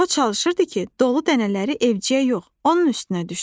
O çalışırdı ki, dolu dənələri evciyə yox, onun üstünə düşsün.